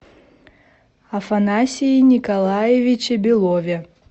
афанасии николаевиче белове